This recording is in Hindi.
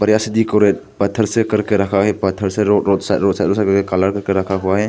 बढ़िया से डेकोरेट पत्थर से करके रखा है। पत्थर से रोड साइड रोड साइड सब कलर करके रखा हुआ है।